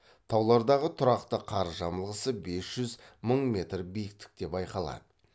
таулардағы тұрақты қар жамылғысы бес жүз мың метр биіктікте байқалады